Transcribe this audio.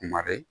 Kuma bɛ